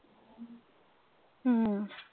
ਹਮ